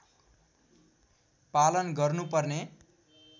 पालन गर्नुपर्ने